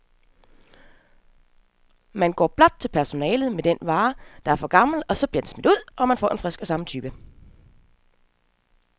Man går blot til personalet med den vare, der er for gammel, så bliver den smidt ud, og man får en frisk af samme type.